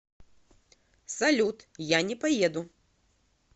салют я не поеду